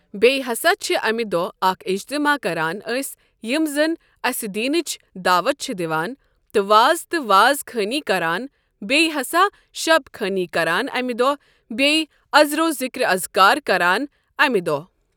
بیٚیہِ ہسا چھِ امہِ دۄہ اکھ اجتماع کران أسۍ یِم زن اسہِ دیٖنٕچ دعوت چھِ دِوان تہٕ واز تہٕ واز خٲنی کران بیٚیہِ ہسا شب خٲنی کران امہِ دۄہ بیٚیہِ از رو ذکر اذکار کران امہِ دۄہ۔